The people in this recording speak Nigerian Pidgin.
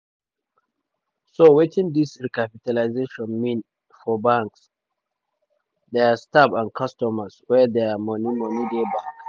so wetin dis recapitalisation mean for banks dia staff and customers wey dia money money dey bank?